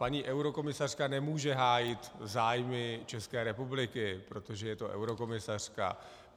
Paní eurokomisařka nemůže hájit zájmy České republiky, protože je to eurokomisařka.